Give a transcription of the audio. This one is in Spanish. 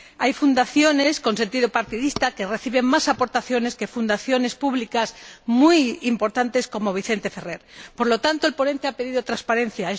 Hay fundaciones con sentido partidista que reciben más aportaciones que fundaciones públicas muy importantes, como la Fundación Vicente Ferrer. Por lo tanto, el ponente ha pedido transparencia.